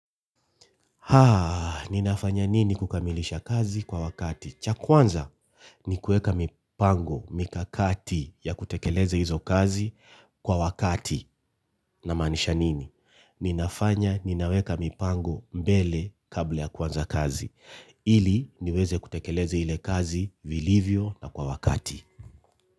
Haa, ninafanya nini kukamilisha kazi kwa wakati? Cha kwanza ni kuweka mipango mikakati ya kutekeleza hizo kazi kwa wakati namaanisha nini? Ninafanya ninaweka mipango mbele kabla ya kwanza kazi. Ili niweze kutekeleza ile kazi vilivyo na kwa wakati.